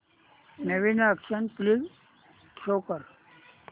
नवीन action flick show कर